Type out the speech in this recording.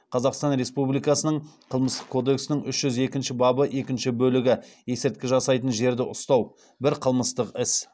қазақстан республикасының қылмыстық кодексінің үш жүз екінші бабы екінші бөлігі бір қылмыстық іс